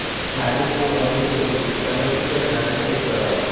नॉर्विक हे अमेरिकेतील कनेटिकट राज्यातील एक शहर आहे